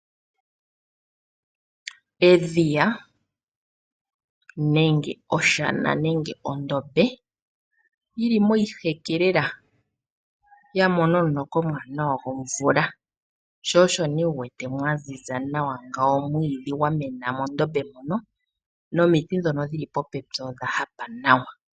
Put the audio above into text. Edhiya nenge oshana nenge ondombe yi li moshi heke lela . Ya mona omuloka omuwanawa gomvula. Sho osho wu wete mwa ziza nawa ngawo. Omwiidhi gwa mena mondombe nonomiti ndho dhili po pepi odha hapa nawa.